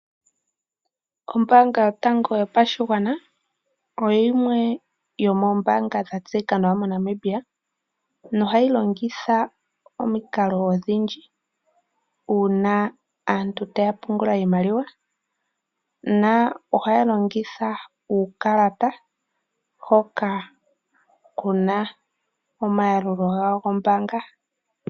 Ombanga yotango yopashigwana oyo yimwe yomoombanga dha tseyika nawa moNamibia nohayi longitha omikalo odhindji una aantu taya pungula iimaliwa na ohaya longitha uukalata hoka kuna omayalulilo gombanga.